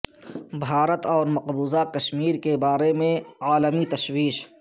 بھارت اور مقبوضہ کشمیر کے بارے میں عالمی تشویش